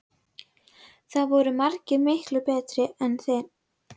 Það voru margir miklu betri en